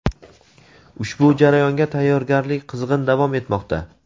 ushbu jarayonga tayyorgarlik qizg‘in davom etmoqda.